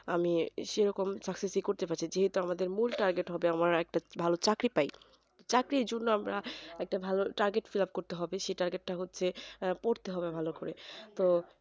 আমি সেরকম চাকরুসি করতে পারছি যেহেতু আমাদের মূল target হবে ভালো একটা চাকরি পাই চাকরির জন্য আমরা ভালো targetfillup করতে হবে সেই target তা হচ্ছে পড়তে হবে ভালো করে তো